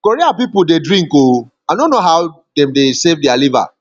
korea people dey drink ooo i no know how dem dey save their liver